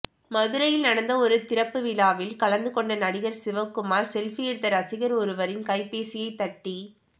மதுரையில் நடந்த ஒரு திறப்பு விழாவில் கலந்து கொண்ட நடிகர் சிவக்குமார் செல்பி எடுத்த ரசிகர் ஒருவரின் கைப்பேசியை தட்டி